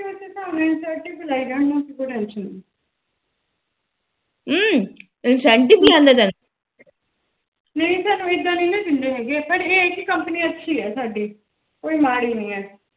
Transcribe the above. ਨਹੀ ਸਾਨੂੰ ਇਦਾ ਨੀ ਨਾ ਦਿੰਦੇ ਹੈਗੇ ਪਰ ਇਹ ਕੇ company ਅੱਛੀ ਏ ਸਾਡੀ ਕੋਈ ਮਾੜੀ ਨੀ ਹੈ